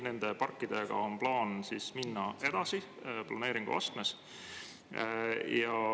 Nende parkidega on plaanis minna edasi, planeeringuastmes.